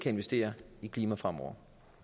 investere i klimaet fremover